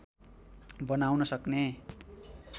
बनाउन सक्ने